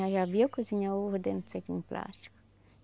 Já viu cozinhar o ovo dentro de um saquinho plástico?